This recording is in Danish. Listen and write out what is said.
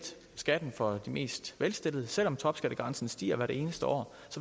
skatten for de mest velstillede selv om topskattegrænsen stiger hvert eneste år